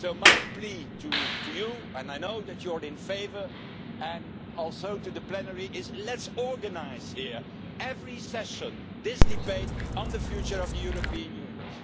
So my plea to you and I know that you are in favour and also to the plenary is let's organise here, every session, this debate on the future of the European Union.